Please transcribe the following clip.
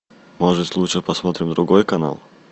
может лучше посмотрим другой канал